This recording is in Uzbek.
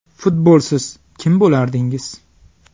Futbolsiz kim bo‘lardingiz?